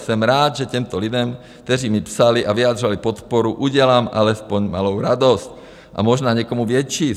Jsem rád, že těmto lidem, kteří mi psali a vyjádřili podporu, udělám alespoň malou radost, a možná někomu větší.